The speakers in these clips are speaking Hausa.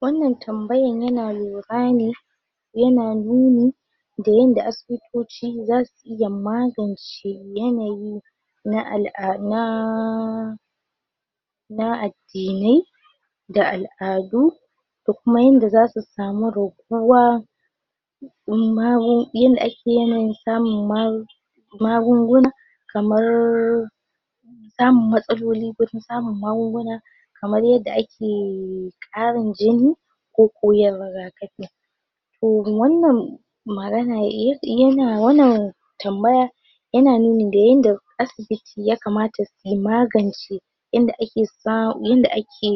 wannan tambayan yana lura ne yana nuni da yanda asibitoci zasu iya magance yanayi na al'ada na addinai da al'adu da kuma yanda zasu samu raguwa imma mu yanda ake yanayin samun magunguna kamar samun matsalolin gurin samun magunguna kamar yadda ake karin jini koko yin rigakafi. Toh wannan magana yana wannan tambaya yana nuni da yanda asibiti ya kamata su magance yanda ake sa yanda ake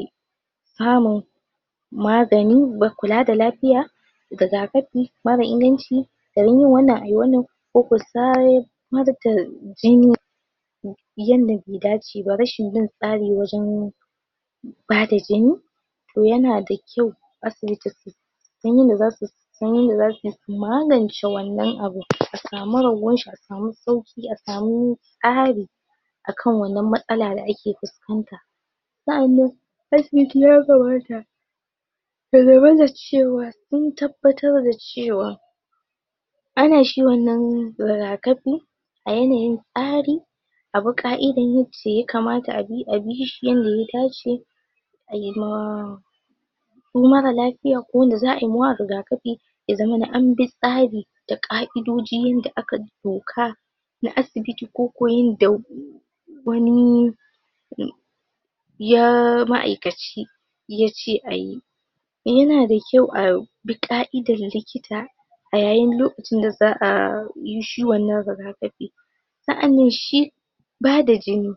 samun magani ba kula da lafiya rigakafi mara inganci garin yin wannan ayi wannan koko jini yanda ba ya dace ba, rashin bin tsari wajan bada jini. To yana da kyau asibiti su san yanda zasu san yanda zasuyi su magance wannan abu a samu raguwanshi, a samu sauki, a samu tsari akan wannan matsala da ake fuskanta. Sannan asibiti ya kamata ya zamana cewa sun tabbata da cewa an yi wannan rigakafi a yanayin tsari a bi ka’idan yanda ya kamata a bi shi yanda ya dace. Anema ko marar lafiya ko wanda za’ayi wa rigakafi ya zamana an bi tsari da ka’idoji yanda aka doka na asibiti koko yanda wani ya ma’aikaci yace ayi. Yana da kyau a bi ka’idan likita a yayin lokacin da za’a yi shi wannan rigakafi. Sannan shi bada jini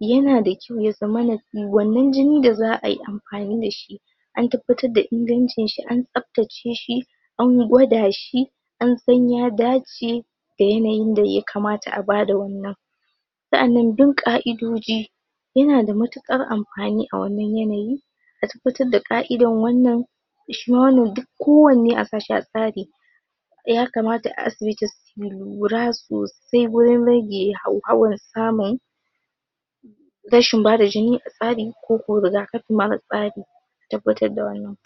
yana da kyau ya zamana wannan jinin da za’ayi amfani da shi an tabbata da ingancinsa, an tsaftace shi, an gwada shi, an san ya dace da yanayin da ya kamata a ba da wannan. Sannan bin ka’idoji yana da matukar amfani a wannan yanayi, a tabbatar da ka’idar wannan shima. Duk ko wanne sashi a tsari ya kamata a asibiti su lura sosai wurin rage hauhawun samun rashin bada jini a tsari koko rigakafi mara tsari. Tabbatar da wannan.